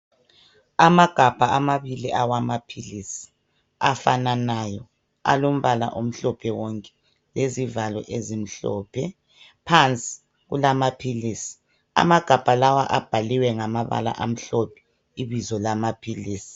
amagabha amabili awamabili awamaphilisi afananayo alombala omhlophe wonke lezivalo ezimhlophe phansi kulamaphilisi amagabha lawa abhaliwe ngamabala amhlophe ibizo lamaphilisi